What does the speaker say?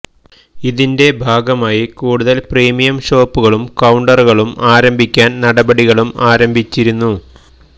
ഇതിന്റെ ഭാഗമായി കൂടുതൽ പ്രീമിയം ഷോപ്പുകളും കൌണ്ടറുകളും ആരംഭിക്കാൻ നടപടികളും ആരംഭിച്ചിരുന്നു